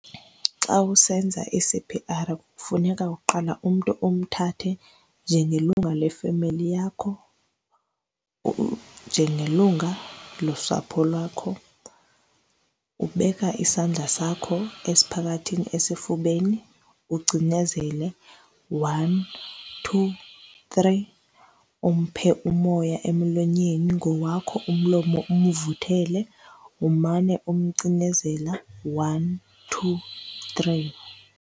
Xa usenza i-C_P_R kufuneka uqale umntu umthathe njengelungu lefemeli yakho, njengelungu losapho lwakho. Ubeka isandla sakho esiphakathini esifubeni, ucinezele one, two, three. Umphe umoya emlonyeni ngowakho umlomo, umvuthele. Umane umcinezela, one, two, three.